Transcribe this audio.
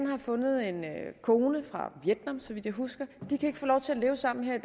har fundet en kone fra vietnam så vidt jeg husker de kan ikke få lov til at leve sammen her i